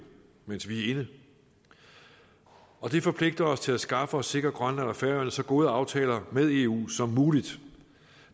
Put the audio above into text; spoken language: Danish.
mens vi er inde og det forpligter os til at skaffe og sikre grønland og færøerne så gode aftaler med eu som muligt